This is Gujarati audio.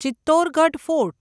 ચિત્તોરગઢ ફોર્ટ